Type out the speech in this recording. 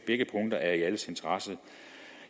begge punkter er i alles interesse